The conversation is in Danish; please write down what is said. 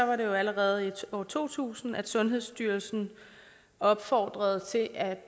var det jo allerede i år to tusind sundhedsstyrelsen opfordrede til at